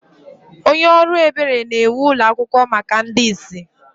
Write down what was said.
Onye ọrụ ebere na-ewu ụlọ akwụkwọ maka ndị ìsì.